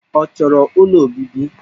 Ọ chọrọ ụlọ obibi?